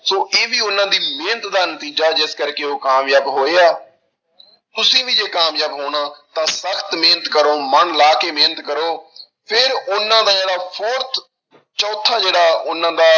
ਸੋ ਇਹ ਵੀ ਉਹਨਾਂ ਦੀ ਮਿਹਨਤ ਦਾ ਨਤੀਜਾ ਜਿਸ ਕਰਕੇ ਉਹ ਕਾਮਯਾਬ ਹੋਏ ਆ ਤੁਸੀਂ ਵੀ ਜੇ ਕਾਮਯਾਬ ਹੋਣਾ ਤਾਂ ਸਖ਼ਤ ਮਿਹਨਤ ਕਰੋ ਮਨ ਲਾ ਕੇ ਮਿਹਨਤ ਕਰੋ, ਫਿਰ ਉਹਨਾਂ ਦਾ ਜਿਹੜਾ fourth ਚੌਥਾ ਜਿਹੜਾ ਉਹਨਾਂ ਦਾ